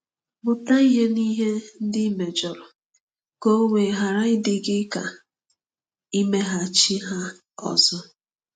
Mụta ihe n'ihe ndị i mejọrọ ka o wee ghara ịdị gị ka imeghachi ha ọzọ.